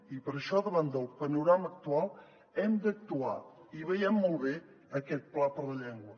i per això davant del panorama actual hem d’actuar i veiem molt bé aquest pla per la llengua